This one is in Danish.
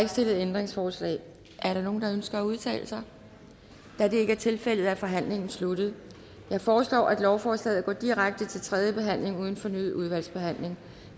ikke stillet ændringsforslag er der nogen der ønsker at udtale sig da det ikke er tilfældet er forhandlingen sluttet jeg foreslår at lovforslaget går direkte til tredje behandling uden fornyet udvalgsbehandling